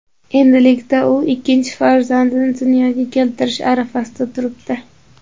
Endilikda u ikkinchi farzandini dunyoga keltirish arafasida turibdi.